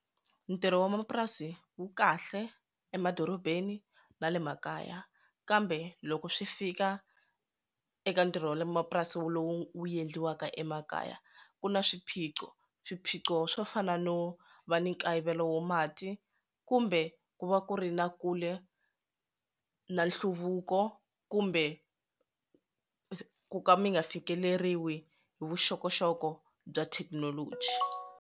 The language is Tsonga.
Ntirho wa mapurasi wu kahle emadorobeni na le makaya kambe loko swi fika eka ntirho wa le mapurasini wu lowu endliwaka emakaya ku na swiphiqo swiphiqo swo fana no va ni nkayivelo wa mati kumbe ku va ku ri na kule na nhluvuko kumbe ku ka mi nga fikeleriwa hi vuxokoxoko bya thekinoloji.